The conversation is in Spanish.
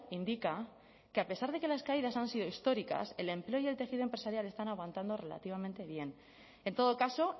indica que a pesar de que las caídas han sido históricas el empleo y el tejido empresarial están aguantando relativamente bien en todo caso